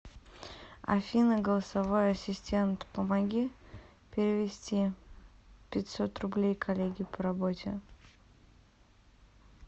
афина голосовой ассистент помоги перевести пятьсот рублей коллеге по работе